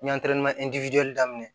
daminɛ